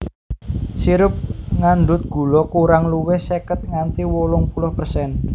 Sirup ngandhut gula kurang luwih seket nganti wolung puluh persen